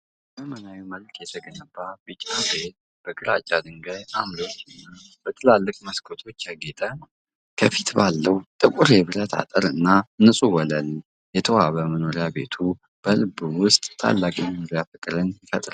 በዘመናዊ መልኩ የተገነባው ቢጫ ቤት፣ በግራጫ ድንጋይ ዓምዶችና በትላልቅ መስኮቶች ያጌጠ ነው። ከፊት ባለው ጥቁር የብረት አጥርና ንጹህ ወለል የተዋበው መኖሪያ ቤቱ፣ በልብ ውስጥ ታላቅ የመኖር ፍቅርን ይፈጥራል።